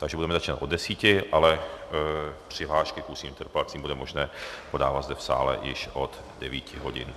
Takže budeme začínat od desíti, ale přihlášky k ústním interpelacím bude možné podávat zde v sále již od devíti hodin.